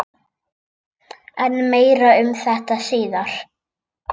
En meira um þetta síðar.